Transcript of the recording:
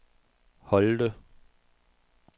Holte